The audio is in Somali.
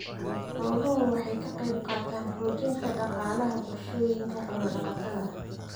Xooluhu waxay ka qaybqaataan xoojinta dhaqaalaha bulshooyinka xoolo-dhaqatada ah.